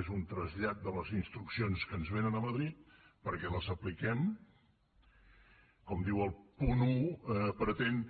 és un trasllat de les instruccions que ens vénen de madrid perquè les apliquem com diu el punt un pretén